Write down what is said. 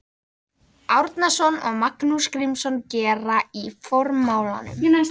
Árnason og Magnús Grímsson gera í formálanum.